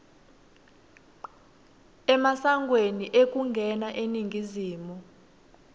emasangweni ekungena eningizimu